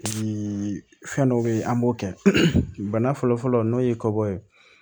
fɛn dɔ bɛ yen an b'o kɛ bana fɔlɔ-fɔlɔ n'o ye kɔbɔ ye